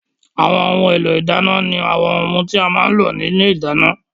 Àwọn ohun èlò ìdáná ni àwọn ohun tí a má ń lò ní ilé ìdáná